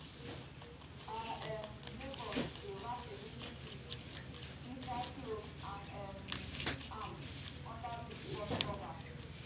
our um neighbours dey wrap egusi seeds inside cloth and um keep am under big pot cover.